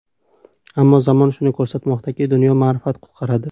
Ammo zamon shuni ko‘rsatmoqdaki, dunyoni ma’rifat qutqaradi.